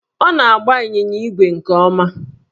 Ọ na-agba ịnyịnya ígwè nke ọma